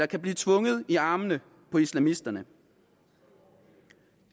kan blive tvunget i armene på islamisterne